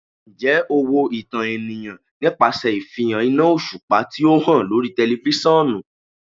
Njẹ o wo itan eniyan nipasẹ ifihan ina oṣupa ti o han lori tẹlifisiọnu?